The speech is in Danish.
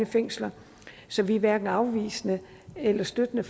fængsler så vi er hverken afvisende eller støttende